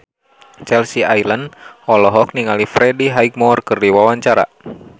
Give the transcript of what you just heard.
Chelsea Islan olohok ningali Freddie Highmore keur diwawancara